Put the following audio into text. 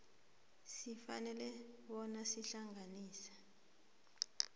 sifanele bona sihlanganiswe